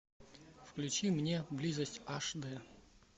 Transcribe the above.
включи мне близость аш д